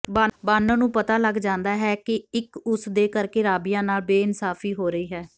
ਬਾਨੋ ਨੂੰ ਪਤਾ ਲੱਗ ਜਾਂਦਾ ਹੈ ਇੱਕ ਉਸਦੇ ਕਰਕੇ ਰਾਬੀਆ ਨਾਲ ਬੇਇੰਸਾਫੀ ਹੋ ਰਹੀ ਹੈ